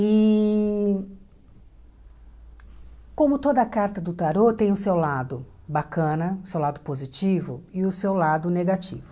E como toda carta do tarot tem o seu lado bacana, o seu lado positivo e o seu lado negativo.